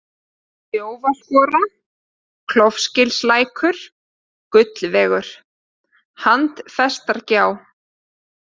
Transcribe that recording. Þjófaskora, Klofgilslækur, Gullvegur, Handfestargjá